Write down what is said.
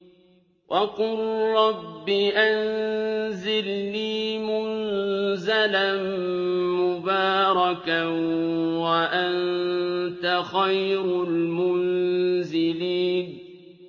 وَقُل رَّبِّ أَنزِلْنِي مُنزَلًا مُّبَارَكًا وَأَنتَ خَيْرُ الْمُنزِلِينَ